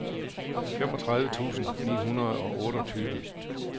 femogtredive tusind ni hundrede og otteogtyve